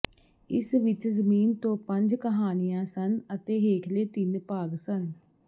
ਇਸ ਵਿਚ ਜ਼ਮੀਨ ਤੋਂ ਪੰਜ ਕਹਾਣੀਆਂ ਸਨ ਅਤੇ ਹੇਠਲੇ ਤਿੰਨ ਭਾਗ ਸਨ